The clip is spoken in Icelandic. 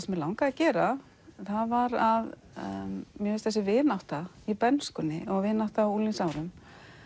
mig langaði að gera var að mér finnst þessi vinátta í bernskunni og vinátta á unglingsárum